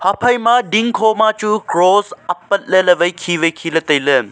haphai ma ding kho ma chu cross apat le wai khe wai khe le tailey.